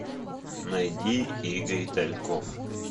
найди игорь тальков